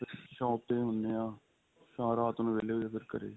shop ਤੇ ਹੀ ਹੁੰਨੇ ਆਂ ਰਾਤ ਨੂੰ ਵਹਿਲੇ ਹੋ ਜੋ ਫੇਰ ਘਰੇ